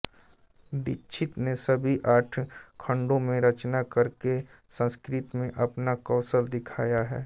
दीक्षित ने सभी आठ खंडों में रचना करके संस्कृत में अपना कौशल दिखाया है